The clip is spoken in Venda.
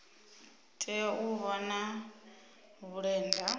tea u vha na vhulenda